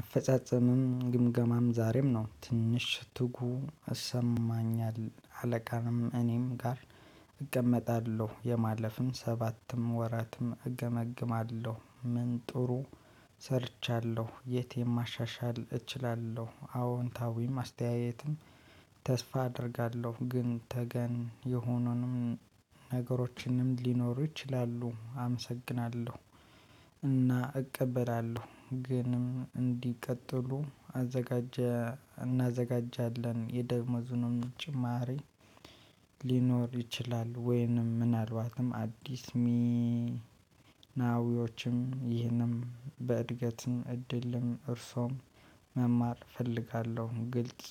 አፈጻጸምም ግምገማም ዛሬም ነው ትንሽ ትጉ ይሰማኛል አለቃም እኔም ጋር እቀመጣለሁ የማለፍም ሰባትም ወራትም እገመግማለሁ ምን ጥሩ ሰርቻለሁ የት የማሻሻል እችላለሁ አዎንታዊም አስተያየትም ተስፋ አደርጋለሁ። ግን ተገን የሆኑንም ነገሮችንም ሊኖሩ ይችላሉ አመሰግናለሁ። እና እቀበላለሁ ግን እንዲቀጥሉ አዘጋጀ እናዘጋጃለን የደሞዙንም ጭማሪ ሊኖር ይችላል። ወይንም ምናልባትም አዲስ ሚናዊዎችም ይህንም በእድገትም እድልም እርሶም መማር እፈልጋለሁ። ግልጽ